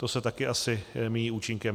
To se taky asi míjí účinkem.